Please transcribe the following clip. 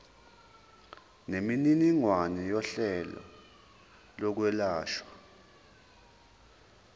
nemininingwane yohlelo lokwelashwa